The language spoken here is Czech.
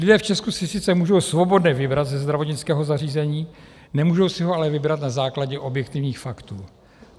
Lidé v Česku si sice můžou svobodně vybrat ze zdravotnického zařízení, nemůžou si ho ale vybrat na základě objektivních faktů.